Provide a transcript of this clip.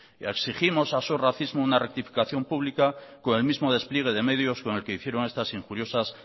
exigimos a sos racismo una rectificación pública con el mismo despliegue de medios con el que hicieron estas injuriosas